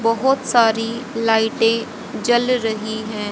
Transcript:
बहुत सारी लाइटें जल रही हैं।